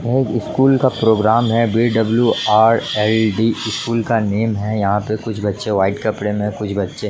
वो स्कूल का प्रोग्राम है D. W . R. L. D school का नाम है यहां कुछ बच्चे सफेद कपड़े मैं है कुछ बच्चे--